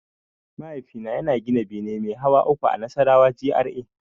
Mahaifina yana gina bene mai hawa uku a Nasarawa GRA.